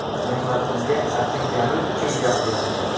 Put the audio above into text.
Mehnatimga achinganim uchun gapiryapman.